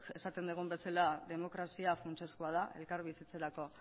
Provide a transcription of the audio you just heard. esan dugun bezala demokrazia funtsezkoa da elkarbizitzarako